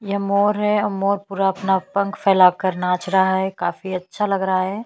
यह मोर है मोर पूरा अपना पंख फैलाकर नाच रहा है काफी अच्छा लग रहा है।